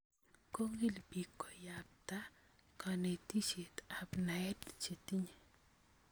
Kokill biik koyabta kanetisyeet ak naet chetinye